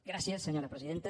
gràcies senyora presidenta